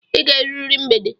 I ga-erurịrị mgbede!